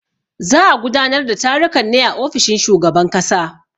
Za a gudanar da tarukan ne a ofishin shugaban kasa.